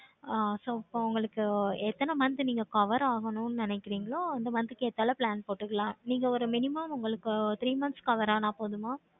ஆஹ் so இப்போ உங்களுக்கு என்ன month நீங்க cover ஆகணும் நினைக்கிறீங்களா அந்த month க்கு ஏத்தாப்புல plan போட்டுக்கலாம். நீங்க ஒரு minimum இப்ப three mno-sonths cover ஆனா போதுமா?